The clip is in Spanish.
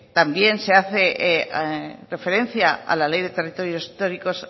también se hace referencia a la ley de territorios históricos